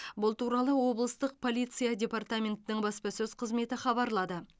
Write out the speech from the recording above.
бұл туралы облыстық полиция департаментінің баспасөз қызметі хабарлады